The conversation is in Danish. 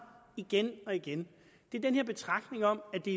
igen og igen er den her betragtning om at det